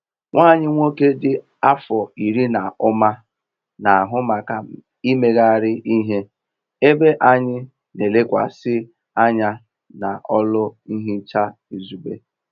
Nwa anyị nwoke dị afọ iri na ụma na-ahụ maka imegharị ihe ebe anyị n'elekwasị anya n'ọlụ nhicha izugbe.